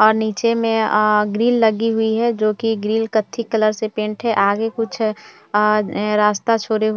और नीचे में आ ग्रील लगी हुई है जो कि ग्रील कत्थे कलर से पेंट है आगे कुछ रस्ता छोरे हुए है। --